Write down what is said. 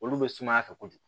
Olu bɛ sumaya fɛ kojugu